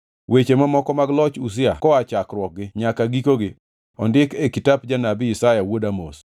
Weche mamoko mag loch Uzia koa chakruokgi nyaka gikogi ondikgi e kitap janabi Isaya wuod Amoz.